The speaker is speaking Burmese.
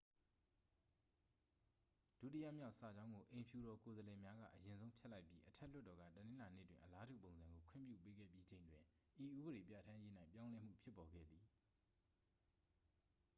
ဒုတိယမြောက် စာကြောင်းကို အိမ်ဖြူတော် ကိုယ်စားလှယ်များက အရင်ဆုံး ဖျက်လိုက်ပြီး အထက်လွှတ်တော်က တနင်္လာနေ့တွင် အလားတူပုံစံကို ခွင့်ပြု ပေးခဲ့ပြီးချိန်တွင် ဤဥပဒေပြဠာန်းရေး၌ ပြောင်းလဲမှုဖြစ်ပေါ်ခဲ့သည်